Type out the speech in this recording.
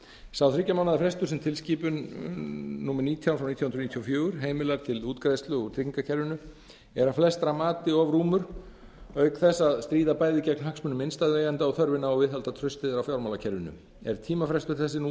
sá þriggja mánaða frestur sem tilskipun númer nítján nítján hundruð níutíu og fjögur heimilar til útgreiðslu út tryggingakerfinu er að flestra mati of rúmur auk þess að stríða bæði gegn hagsmunum innstæðueigenda og þörfinni á að viðhalda trausti á fjármálakerfinu er tímafrestur þessi nú